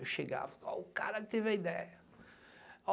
Eu chegava, olha o cara que teve a ideia.